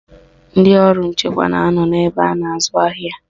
Ndị ọrụ nchekwa na anọ n'ebe a na-azụ ahịa